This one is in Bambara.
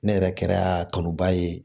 Ne yɛrɛ kɛra kanu ba ye